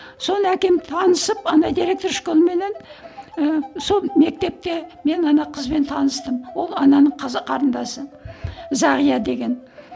соны әкем танысып ана директор школыменен ыыы сол мектепте мен ана қызбен таныстым ол ананың қарындасы зағия деген